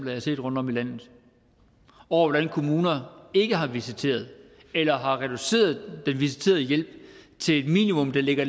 har set rundtom i landet og over hvordan kommuner ikke har visiteret eller har reduceret den visiterede hjælp til et minimum der ligger